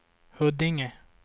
Huddinge